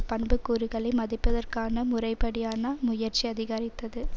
பண்புக்கூறுகளை மதிப்பதற்கான முறைப்படியான முயற்சி அதிகரித்தது